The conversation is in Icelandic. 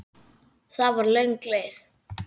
Það var löng leið.